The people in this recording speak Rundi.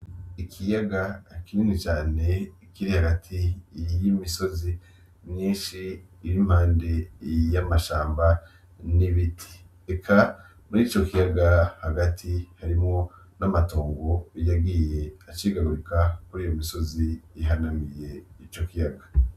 Ikiyaga kinini cane kiri hagati y'imisozi myishi iri impande y'amashamba n'ibiti eka muri ico kiyaga hagati harimwo n'amatongo yagiye acikagurika kuriyo misozi ihanamiye ico kiyaga.